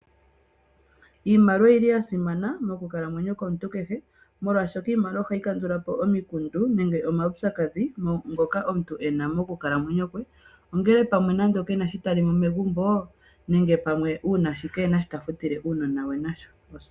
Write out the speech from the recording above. Iimaliwa oyi li ya simana mokukalamwenyo komuntu kehe molwashoka iimaliwa ohayi kandulapo omikundu, nenge omaupyakadhi ngoka omuntu ena mokukalamweyo kwe. No ngele oamwe kena sho ta li megumbo nenge pamwe uuna kena sho ta futile uunona we nasho osikola.